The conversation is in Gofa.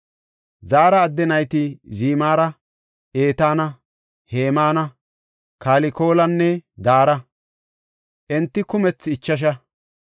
Zaara adde nayti Zimira, Etaana, Hemaana, Kalkolanne Dara; enti kumethi ichasha.